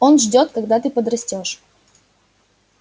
он ждёт когда ты подрастёшь